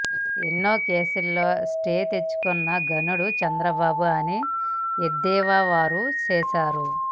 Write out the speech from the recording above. ఎన్నో కేసుల్లో స్టేలు తెచ్చుకున్న ఘనుడు చంద్రబాబు అని ఎద్దేవా వారు చేశారు